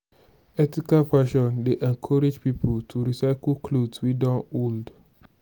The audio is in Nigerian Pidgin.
ethical fashion dey encourage pipo to recycle cloth wey don old